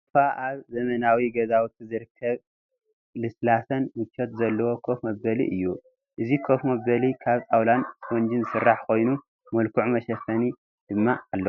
ሶፋ ኣብ ዘመናዊ ገዛውቲ ዝርከብ ልስላሰን ምቾት ዘለዎ ኮፍ መበሊ እዩ፡፡ እዚ ኮፍ መበሊ ካብ ጣውላን ስፖንጅን ዝስራሕ ኮይኑ ምልኩዕ መሸፈኒ ድማ ኣለዎ፡፡